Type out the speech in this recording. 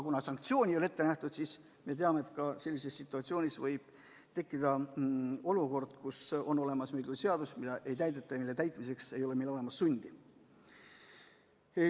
Kuna aga sanktsiooni ei ole ette nähtud, siis me teame, et võib tekkida ka olukord, kus meil on küll olemas seadus, kuid seda ei täideta ja selle täitmiseks ei ole meil olemas sundi.